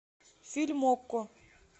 фильм окко